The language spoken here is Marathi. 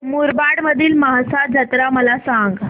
मुरबाड मधील म्हसा जत्रा मला सांग